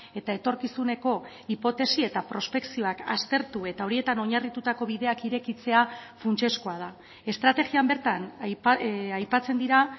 eta etorkizuneko hipotesi eta prospekzioak aztertu eta horietan oinarritutako bideak irekitzea funtsezkoa da estrategian bertan aipatzen dira